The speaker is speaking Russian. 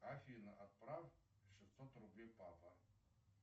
афина отправь шестьсот рублей папа